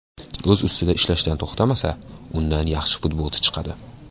O‘z ustida ishlashdan to‘xtamasa, undan yaxshi futbolchi chiqadi.